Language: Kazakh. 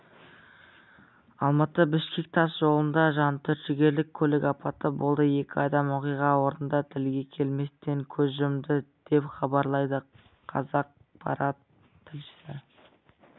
алматы-бішкек тас жолында жантүршігерлік көлік апаты болды екі адам оқиға орнында тілге келместен көз жұмды деп хабарлайды қазақпарат тілшісі